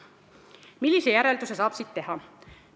Millise järelduse saab siit teha?